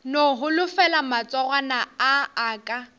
no holofela matsogwana a aka